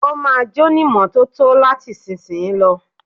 Ó ma jónímọ́tótó láti ìsìnyí lọ.